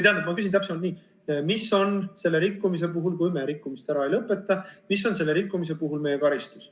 Tähendab, ma küsin täpsemalt nii: mis on selle rikkumise puhul meie karistus, kui me rikkumist ära ei lõpeta?